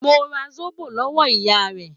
Mo ra Zóbò lọ́wọ́ ìyá rẹ̀.